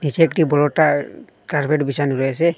নীচে একটি বড়োটার কার্পেট বিছানো রয়েছে।